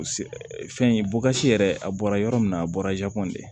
Fɛn in yɛrɛ a bɔra yɔrɔ min na a bɔra de